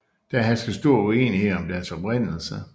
Der hersker stor uenighed om deres oprindelse